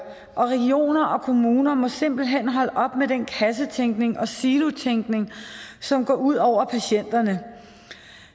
og regioner og kommuner må simpelt hen holde op med den kassetænkning og silotænkning som går ud over patienterne